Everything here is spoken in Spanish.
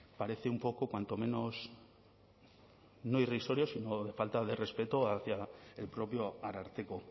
parece un poco cuanto menos no irrisorio sino de falta de respeto hacia el propio ararteko